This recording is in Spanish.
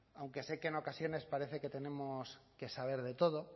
aunque sé que en ocasiones parece que tenemos que saber de todo